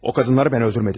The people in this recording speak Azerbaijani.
O kadınları ben öldürmedim.